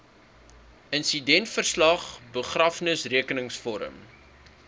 insidentverslag begrafnisrekenings vorm